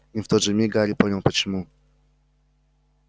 и в тот же миг гарри понял почему